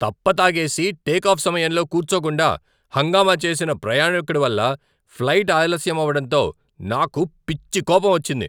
తప్ప తాగేసి టేకాఫ్ సమయంలో కూర్చోకుండా హంగామా చేసిన ప్రయాణికుడి వల్ల ఫ్లైట్ ఆలస్యం అవడంతో నాకు పిచ్చి కోపం వచ్చింది.